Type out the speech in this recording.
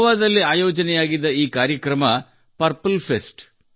ಗೋವಾದಲ್ಲಿ ಆಯೋಜನೆಯಾಗಿದ್ದ ಈ ಕಾರ್ಯಕ್ರಮವೆಂದರೆ ಪರ್ಪಲ್ ಫೆಸ್ಟ್